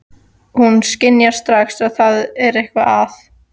Hún skynjar strax að það er eitthvað að.